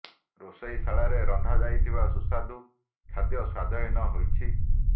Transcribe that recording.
ରୋଷେଇ ଶାଳରେ ରନ୍ଧା ଯାଇଥିବା ସୁସ୍ୱାଦୁ ଖାଦ୍ୟ ସ୍ୱାଦହୀନ ହୋଇଛି